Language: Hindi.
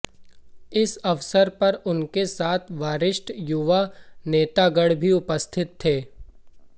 इस अवसर पर उनके साथ वरिष्ठ युवा नेतागण भी उपस्थित थे